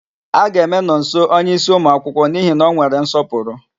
A ga-eme Nọnso onyeísí ụmụakwụkwọ n'ihi na ọ nwere nsọpụrụ.